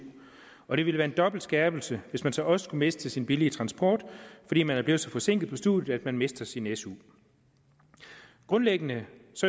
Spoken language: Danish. og det ville være en dobbelt skærpelse hvis man så også skulle miste sin billige transport fordi man var blevet så forsinket på studiet at man mistede sin su grundlæggende